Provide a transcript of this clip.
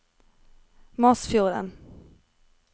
Masfjorden